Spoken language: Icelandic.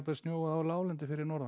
snjóað á láglendi fyrir norðan